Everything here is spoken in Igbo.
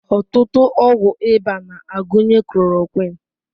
Ọtụtụ ọgwụ ịba na-agụnye chloroquine.